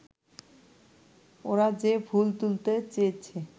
ওরা যে-ফুল তুলতে চেয়েছে